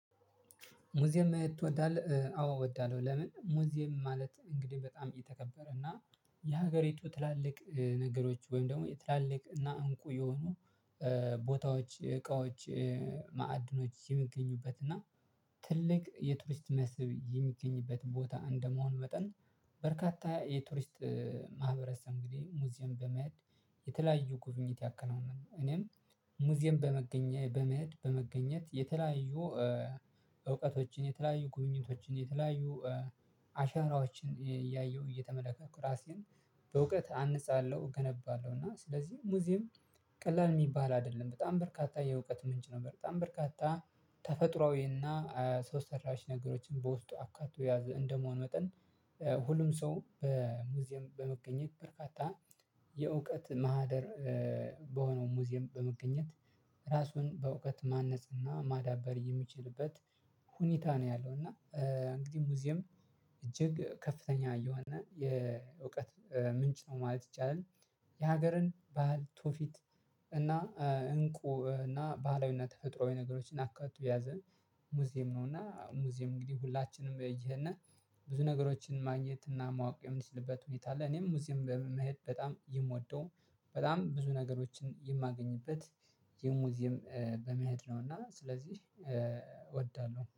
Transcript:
ሙዚየም መሄድ ትወዳለህ? አዎ እወዳለሁ። ለምን ሙዚየም ማለት እንግዲህ በጣም የተከበረ እና የሀገሪቱ ትላልቅ ነገሮች ወይም ደግሞ የትላልቅ እና እንቁ የሆኑ ቦታዎች እቃዎች ማዕድኖች የሚገኙበት እና ትልቅ የቱሪስት መስህብ የሚገኝበት ቦታ እንደመሆን መጠን። በርካታ የቱሪስት ማህበረሰብ እንግዲህ ሙዚየም በመሄድ የተለያዩ ጉብኝት ያከናውናል። እኔም ሙዚየም በመገኘት በመሄድ በመገኘት የተለያዩ እውቀቶችን የተለያዩ ጉብኝቶችን የተለያዩ አሻራዎችን እያየሁ እየተመለከትኩ ራሴን በእውቀት አንጻለሁ እገነባለሁ። እና ስለዚህ ሙዚየም ቀላል የሚባል አይደለም በጣም በርካታ የእውቀት ምንጭ ነው። በጣም በርካታ ተፈጥሮአዊና ሰው ሰራሽ ነገሮችን በውስጡ አካቶ የያዘ እንደመሆን መጠን። ሁሉም ሰው በሙዚየም በመገኘት በርካታ የእውቀት ማህደር በሆነው ሙዚየም በመገኘት ራሱን በእውቀት ማነጽና ማዳበር የሚችልበት ሁኔታ ነው ያለው። እና እንግዲህ ሙዚየም እጅግ ከፍተኛ የሆነ የእውቀት ምንጭ ነው ማለት ይቻላል። የሀገርን ባህል ቱፊት እና እንቁ እና ባህላዊና ተፈጥሮአዊ ነገሮችን አካቶ ያዘን። ሙዚየም ነውና ሙዚየም እንግዲህ ሁላችንም እየሄድን ብዙ ነገሮችን ማግኘት እና ማወቅ የምንችልበት ሁኔታ አለ። እኔም ሙዚየም በመሄድ በጣም የምወደው በጣም ብዙ ነገሮችን የማገኝበት የሙዚየም በመሄድ ነው እና ስለዚህ እወዳለሁ